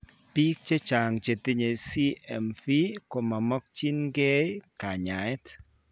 Biik chechang' chetinye CMV komamokyinkee kanyaeet